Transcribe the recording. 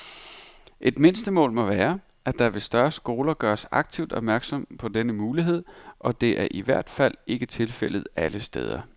Et mindstemål må være, at der ved større skoler gøres aktivt opmærksom på denne mulighed, og det er i hvert fald ikke tilfældet alle steder.